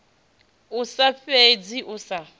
i sa fhidzi u sa